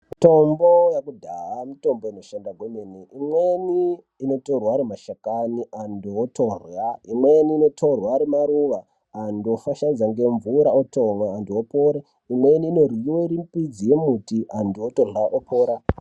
Mutombo yekudhaya mutombo inoshanda kwemene imweni inotorwe ari mashakani antu otorya imweni inktorwe ari maruwa antu ofashaidze ngemvura otomwe antu opore imweni inoryiwe iri mbidzi yembiti antu otorya opora.